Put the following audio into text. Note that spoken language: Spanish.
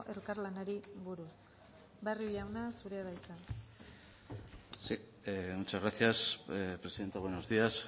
elkarlanari buruz barrio jauna zurea da hitza sí muchas gracias presidenta buenos días